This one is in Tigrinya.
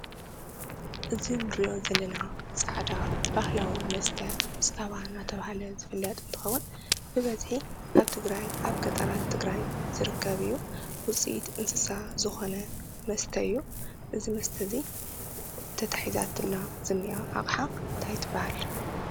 እዚ ንሪኦ ዘለና ፃዕዳ ባህላዊ መስተ ፃባ እናተባህለ ዝፍለጥ እንትኸውን ብበዝሒ ኣብ ትግራይ ኣብ ገጠራት ትግራይ ዝርከብ እዩ፡፡ ውፅኢት እንስሳ ዝኾነ መስተ እዩ? እዚ መስተ እዚ ተታሒዛትላ ዝንኣ ኣቕሓ እንታይ ትበሃል?